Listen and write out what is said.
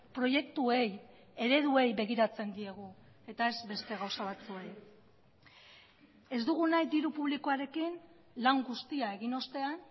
proiektuei ereduei begiratzen diegu eta ez beste gauza batzuei ez dugu nahi diru publikoarekin lan guztia egin ostean